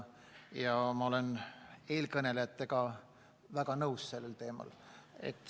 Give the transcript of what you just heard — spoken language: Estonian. Ja ma olen eelkõnelejatega selle teema puhul nõus.